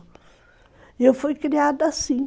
E eu fui criada assim.